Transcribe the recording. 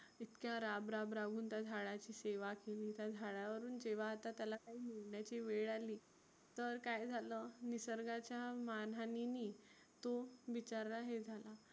इतक्या राब राब राबुन त्या झाडाची सेवा केली त्या झाडावरून जेव्हा आता त्याला काही निघण्याची वेळ आली तर काय झालं निसर्गाच्या मान हाणीनी तो बिचारा हे झाला.